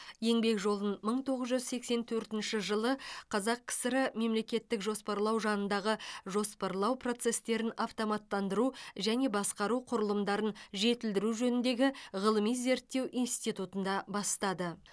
еңбек жолын мың тоғыз жүз сексен төртінші жылы қазақ кср мемлекеттік жоспарлау жанындағы жоспарлау процестерін автоматтандыру және басқару құрылымдарын жетілдіру жөніндегі ғылыми зерттеу институтында бастады